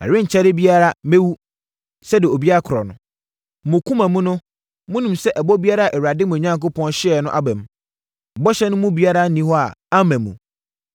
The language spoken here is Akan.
“Ɛrenkyɛre biara mɛwu, sɛdeɛ obiara korɔ no. Mo akoma mu no monim sɛ ɛbɔ biara a Awurade, mo Onyankopɔn hyɛeɛ no aba mu. Bɔhyɛ no mu biara nni hɔ a amma mu!